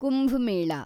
Kumbh Mela